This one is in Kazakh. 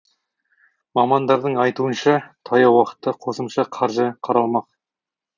мамандардың айтуынша таяу уақытта қосымша қаржы қаралмақ